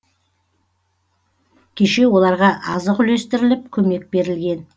кеше оларға азық үлестіріліп көмек берілген